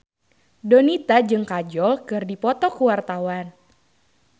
Donita jeung Kajol keur dipoto ku wartawan